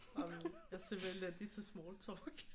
Jamen jeg er simpelthen elendig til smalltalk